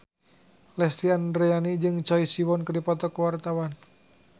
Lesti Andryani jeung Choi Siwon keur dipoto ku wartawan